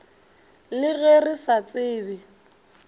le ge re sa tsebe